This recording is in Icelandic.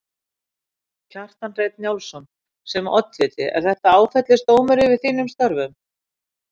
Kjartan Hreinn Njálsson: Sem oddviti er þetta áfellisdómur yfir þínum störfum?